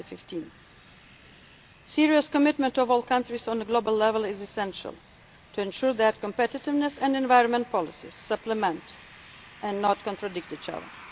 agreement by 2015. Serious commitment by all countries at global level is essential to ensure that competitiveness and environment policies supplement and do not contradict